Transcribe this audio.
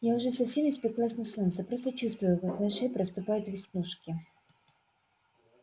я уже совсем испеклась на солнце просто чувствую как на шее проступают веснушки